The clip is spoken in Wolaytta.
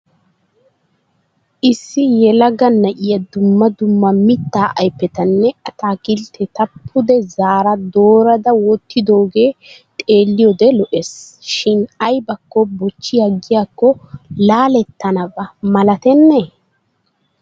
Issi yelaga na'iya dumma dumma mittaa aypetanne ataakiltteta pude zaara doorada wottidooge xeelliyoode lo'es shin ayibakko bochchi aggiyaakko laalettanaba malatennee?